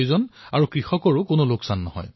ইয়াৰ দ্বাৰা কৃষকসকলে ক্ষতিৰ পৰা ৰক্ষা পৰিছে